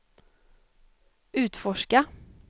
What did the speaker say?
utforska